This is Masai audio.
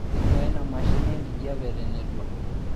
inuaa ina mashini enkijape tenetua